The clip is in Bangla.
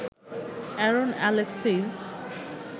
Aaron Alexis